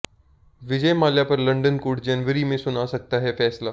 विजय माल्या पर London court जनवरी में सुना सकता है फैसला